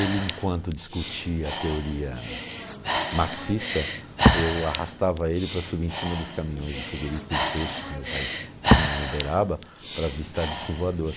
Ele, enquanto discutia a teoria marxista, eu arrastava ele para subir em cima dos caminhões do frigorífico de peixe que meu pai tinha em Uberaba para visitar disco voador.